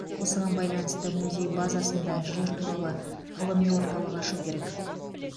осыған байланысты музей базасында жер туралы ғылыми орталық ашу керек